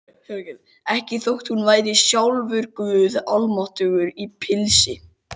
Ekki þótt hún væri sjálfur guð almáttugur í pilsi.